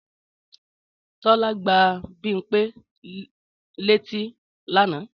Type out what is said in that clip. Tọ́lá gbá Bímpé létí lánàá